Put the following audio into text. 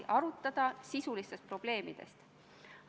Aitäh küsimuse eest!